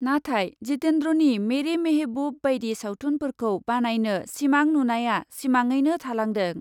नाथाय जितेन्द्रनि मेरे मेहेबुब बायदि सावथुनफोरखौ बानायनो सिमां नुनाया सिमाङैनो थालांदों ।